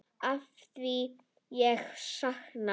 Afþvíað ég sakna.